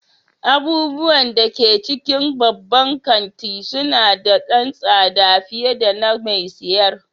Abubuwan da ke cikin babban kanti suna da ɗan tsada fiye da na mai siyar.